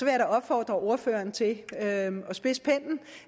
jeg da opfordre ordføreren til at spidse